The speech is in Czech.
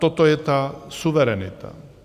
Toto je ta suverenita.